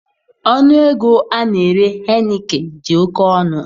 Ọnụ ego a na-ere Heineken dị oke ọnụ